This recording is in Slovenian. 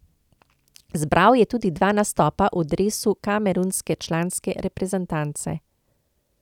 Zbral je tudi dva nastopa v dresu kamerunske članske reprezentance.